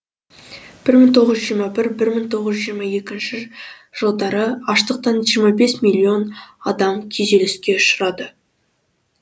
бір мың тоғыз жүз жиырма бір бір мың тоғыз жүз жиырма екінші жылдары аштықтан жиырма бес миллион адам күйзеліске ұшырады